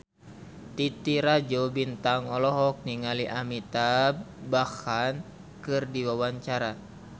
Titi Rajo Bintang olohok ningali Amitabh Bachchan keur diwawancara